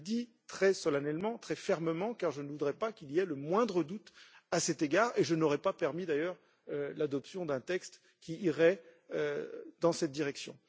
Je le dis très solennellement, très fermement, car je ne voudrais pas qu'il y ait le moindre doute à cet égard, et je n'aurais pas permis d'ailleurs l'adoption d'un texte qui irait dans cette direction.